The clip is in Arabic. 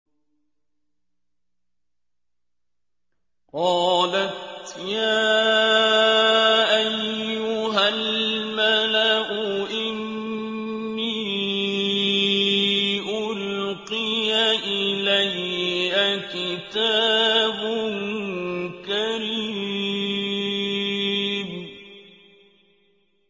قَالَتْ يَا أَيُّهَا الْمَلَأُ إِنِّي أُلْقِيَ إِلَيَّ كِتَابٌ كَرِيمٌ